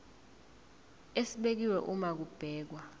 esibekiwe uma kubhekwa